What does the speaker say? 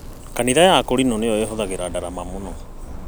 Kanitha ya akũrinũ nĩyo ĩhũthagĩra ndarama mũno